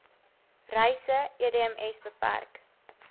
reise edms bpk